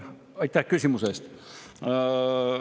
Aitäh küsimuse eest!